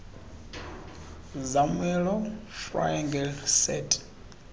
zermelo fraenkel set